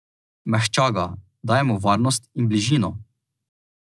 Mehča ga, daje mu varnost in bližino.